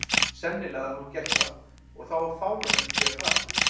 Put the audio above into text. Sennilega hafði hún gert það, og þá var fáránlegt að gera það aftur.